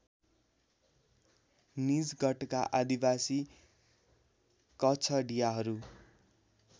निजगढका आदिवासी कछडियाहरू